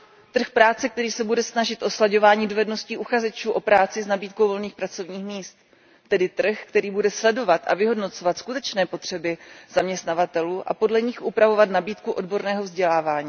Trh práce, který se bude snažit o slaďování dovedností uchazečů o práci s nabídkou volných pracovních míst, tedy trh, který bude sledovat a vyhodnocovat skutečné potřeby zaměstnavatelů a podle nich upravovat nabídku odborného vzdělání.